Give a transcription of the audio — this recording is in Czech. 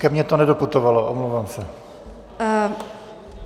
Ke mně to nedoputovalo, omlouvám se.